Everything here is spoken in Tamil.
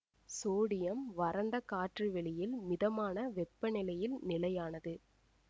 சோடியம் வறண்ட காற்று வெளியில் மிதமான வெப்ப நிலையில் நிலையானது